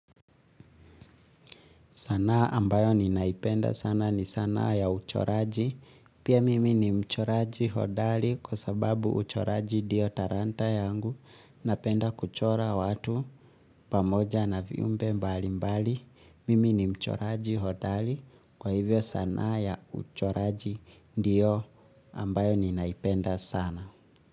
Sana ambayo ninaipenda sana ni sana ya uchoraji, pia mimi ni mchoraji hodali kwa sababu uchoraji diyo taranta yangu, napenda kuchora watu pamoja na viumbe mbali mbali, mimi ni mchoraji hodali kwa hivyo sana ya uchoraji ndiyo ambayo ninaipenda sana.